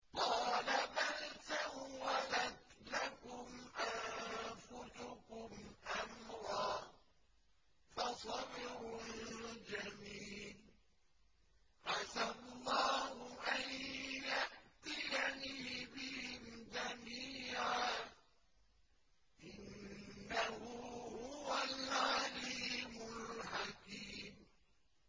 قَالَ بَلْ سَوَّلَتْ لَكُمْ أَنفُسُكُمْ أَمْرًا ۖ فَصَبْرٌ جَمِيلٌ ۖ عَسَى اللَّهُ أَن يَأْتِيَنِي بِهِمْ جَمِيعًا ۚ إِنَّهُ هُوَ الْعَلِيمُ الْحَكِيمُ